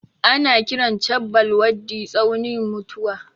Ana kiran chabbal waddi tsaunin mutuwa.